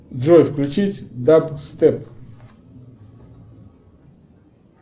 джой включить даб степ